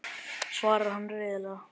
svarar hann reiðilega.